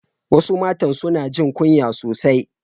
Wasu matan suna jin kunya sosai